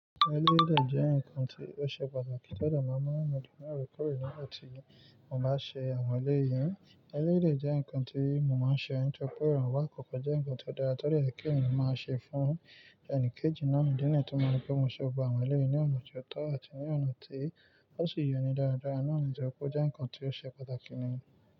Eléyìí dẹ jẹ́ nǹkan tí ó ṣe pàtàkì to dẹ máa ń mú ẹlòmíràn ro pe èèyàn na tí mo bá ṣe àwọn ẹlẹ́yìí. Ẹleyii jẹ́ nǹkan tí mo máa ń ṣe nítoripẹ́ iranwo ikọ́kọ́ jẹ́ nǹkan tí ó dára to de ye kí ẹnìyan máa ṣe fún ẹni kejì náà idi niyií tí mo rí pé mo ṣe gbogbo àwọn ẹlẹ́yìí ní ọ̀nà tó tọ́ àti ní ọ̀nà tí ó sì yọni dáadáa náà ni tọ pẹ́ jẹ́ nǹkan tí ó ṣe pàtàkì ní.